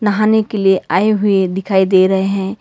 नहाने के लिए आए हुए दिखाई दे रहे हैं।